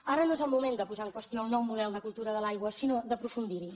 ara no és el moment de posar en qüestió el nou model de cultura de l’aigua sinó d’aprofundir hi